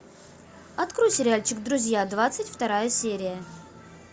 открой сериальчик друзья двадцать вторая серия